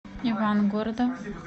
ивангорода